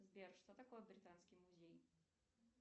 сбер что такое британский музей